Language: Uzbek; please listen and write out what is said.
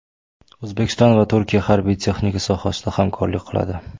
O‘zbekiston va Turkiya harbiy-texnika sohasida hamkorlik qiladi.